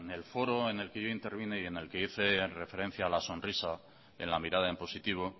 el foro en el que yo intervine y en el que hice referencia a la sonrisa en la mirada en positivo